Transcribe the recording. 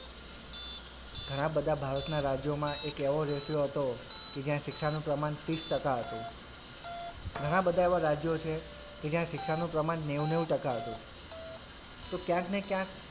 ઘણાં બધાં ભારતના રાજ્યોમાં એક એવો ratio હતો કે જ્યાં શિક્ષાનુ પ્રમાણ ત્રીસ ટકા હતું ઘણાં બધાં એવાં રાજ્યો છે કે જ્યાં શિક્ષાનું પ્રમાણ નેવું નેવું ટકા હતું તો ક્યાંક ને ક્યાંક,